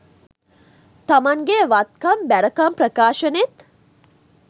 තමන්ගෙ වත්කම් බැරකම් ප්‍රකාශනෙත්